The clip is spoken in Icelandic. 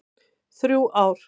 Þrjú ár.